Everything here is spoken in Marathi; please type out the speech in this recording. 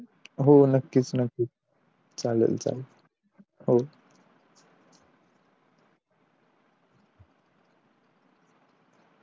हो नक्कीच नक्कीच चालेल चालेल